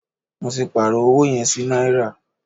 Mó tí pàárọ̀ ọwọ yẹn sí náírà.